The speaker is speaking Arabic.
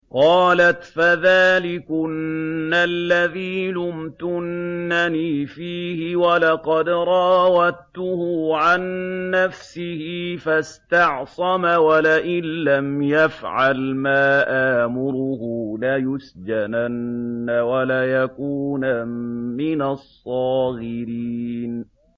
قَالَتْ فَذَٰلِكُنَّ الَّذِي لُمْتُنَّنِي فِيهِ ۖ وَلَقَدْ رَاوَدتُّهُ عَن نَّفْسِهِ فَاسْتَعْصَمَ ۖ وَلَئِن لَّمْ يَفْعَلْ مَا آمُرُهُ لَيُسْجَنَنَّ وَلَيَكُونًا مِّنَ الصَّاغِرِينَ